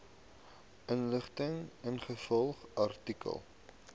inligting ingevolge artikel